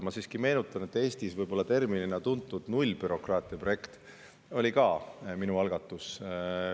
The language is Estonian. Ma siiski meenutan, et Eestis võib-olla terminina tuntud nullbürokraatia projekt oli ka minu algatus.